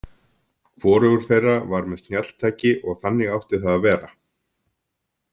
Hvorugur þeirra var með snjalltæki og þannig átti það að vera.